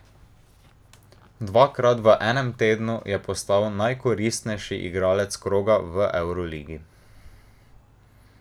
Dvakrat v enem tednu je postal najkoristnejši igralec kroga v evroligi.